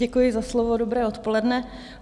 Děkuji za slovo, dobré odpoledne.